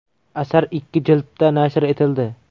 Asar ikki jildda nashr etildi.